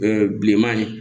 bilenman ye